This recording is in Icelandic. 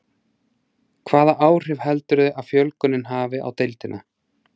Hvaða áhrif heldurðu að fjölgunin hafi á deildina?